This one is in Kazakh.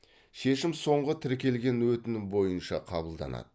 шешім соңғы тіркелген өтінім бойынша қабылданады